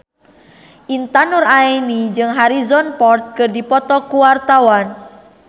Intan Nuraini jeung Harrison Ford keur dipoto ku wartawan